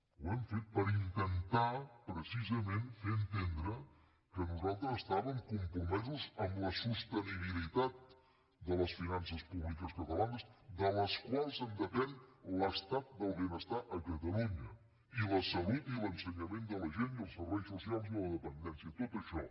ho hem fet per intentar precisament fer entendre que nosaltres estàvem compromesos amb la sostenibilitat de les finances públiques catalanes de les quals depèn l’estat del benestar a catalunya i la salut i l’ensenyament de la gent i els serveis socials i la dependència tot això